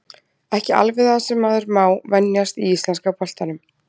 Ekki alveg það sem maður má venjast í íslenska boltanum.